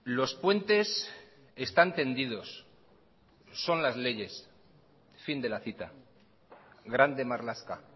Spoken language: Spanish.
los puentes están tendidos son las leyes fin de la cita grande marlaska